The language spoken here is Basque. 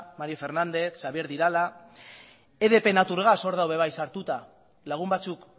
mario fernandez xabier de irala edp natur gas or dago sartuta lagun batzuk